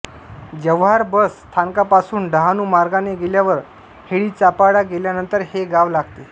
Jawhar bus स्थानकापासून डहाणू मार्गाने गेल्यावर हेडीचापाडा गेल्यानंतर हे गाव लागते